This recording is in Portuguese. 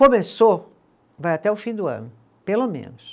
Começou, vai até o fim do ano, pelo menos.